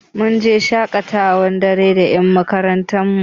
Mun je shaƙatawa tare da ƴan makarantar mu.